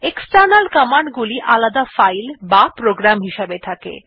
external command গুলি আলাদা file বা প্রোগ্রাম হিসাবে থাকে